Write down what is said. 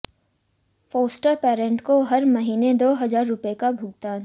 foster parent काे हर महीने दो हजार रुपए का भुगतान